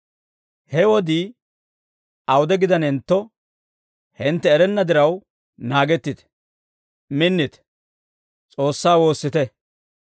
He wodii awude gidanentto, hintte erenna diraw, naagettite; minnite; S'oossaa woossite.